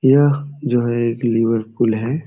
यह जो है एक लिवर पूल है।